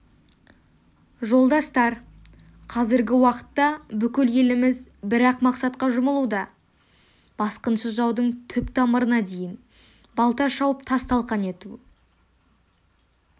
жолдастар қазіргі уақытта бүкіл еліміз бір-ақ мақсатқа жұмылуда басқыншы жаудың түп-тамырына дейін балта шауып тас-талқан ету